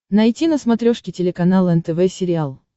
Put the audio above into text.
найти на смотрешке телеканал нтв сериал